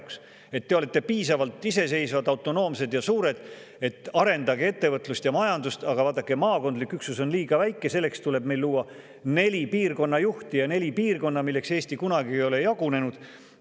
te olete piisavalt iseseisvad, autonoomsed ja suured, arendage ettevõtlust ja majandust, aga vaadake, maakondlik üksus on liiga väike, selleks tuleb meil luua neli piirkonnajuhti ja neli piirkonda, milleks Eesti kunagi ei ole jagunenud.